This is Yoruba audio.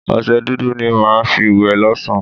Ọṣẹ dúdú ni màá fi wẹ̀ lọ́sá̀n-an